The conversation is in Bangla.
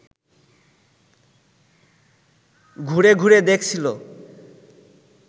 ঘুরে ঘুরে দেখছিল